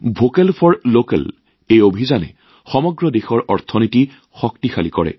vocal for লোকেলৰ এই অভিযানে সমগ্ৰ দেশৰ অৰ্থনীতি শক্তিশালী কৰে